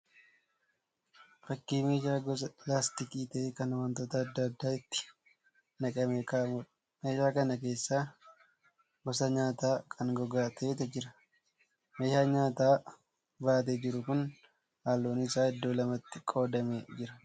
Fakkii meeshaa gosa laastikii ta'e kan wantoota adda addaa itti naqamee ka'amuudha. Meeshaa kana keessa gosa nyaataa kan gogaa ta'etu jira. Meeshaan nyaata baatee jiru kun halluun isaa iddoo lamatti qoodamee jira.